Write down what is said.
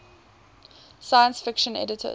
science fiction editors